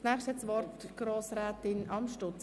Als Nächstes geht das Wort an Grossrätin Amstutz.